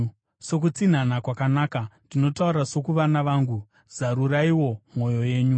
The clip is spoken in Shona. Sokutsinhana kwakanaka, ndinotaura sokuvana vangu, zaruraiwo mwoyo yenyu.